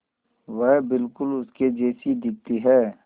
वह बिल्कुल उसके जैसी दिखती है